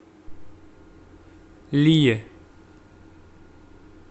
лие